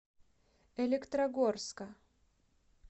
электрогорска